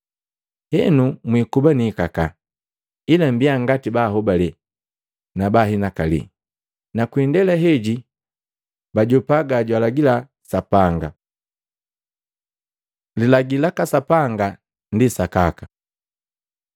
Henu mwikuba niikakaa, ila mmbiya ngati bahobale na baa hinakali, na kwi indela heji bajopa gajwaalagila Sapanga. Lilagi laka Sapanga ndi sakaka